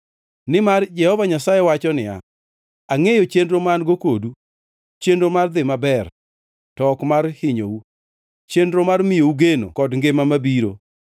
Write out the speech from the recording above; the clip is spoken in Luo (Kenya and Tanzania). Nimar Jehova Nyasaye wacho niya, “Angʼeyo chenro ma an-go kodu. Chenro mar dhi maber to ok mar hinyou, chenro mar miyou geno kod ngima mabiro.